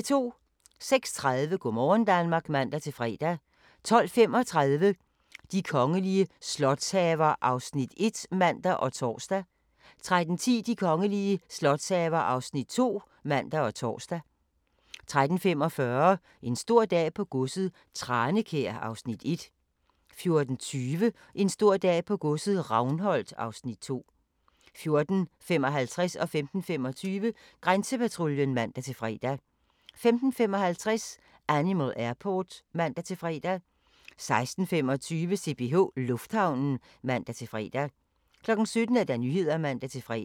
06:30: Go' morgen Danmark (man-fre) 12:35: De kongelige slotshaver (Afs. 1)(man og tor) 13:10: De kongelige slotshaver (Afs. 2)(man og tor) 13:45: En stor dag på godset - Tranekær (Afs. 1) 14:20: En stor dag på godset - Ravnholt (Afs. 2) 14:55: Grænsepatruljen (man-fre) 15:25: Grænsepatruljen (man-fre) 15:55: Animal Airport (man-fre) 16:25: CPH Lufthavnen (man-fre) 17:00: Nyhederne (man-fre)